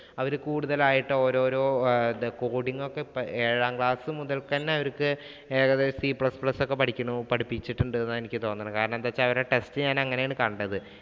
അവര കൂടുതലായിട്ട് ഓരോരോ coding ഒക്കെ ഏഴാം class മുതല്‍ക്കു തന്നെ അവര്‍ക്ക് ഏകദേശം ഈ c plus plus ഒക്കെ പഠിക്കണം പഠിപ്പിച്ചിട്ടുണ്ട് എന്നാ എനിക്ക് തോന്നണേ. കാരണം എന്താന്ന് വച്ചാ അവരുടെ text ഞാന്‍ അങ്ങനെയാണ് കണ്ടത്.